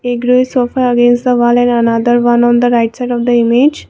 A grey sofa rest on the wall and another one on the right side of the image.